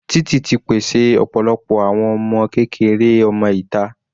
Títì ti pèsè ọ̀pọ̀lọpọ̀ àwọn ọmọ kékeré ọmọ ìta.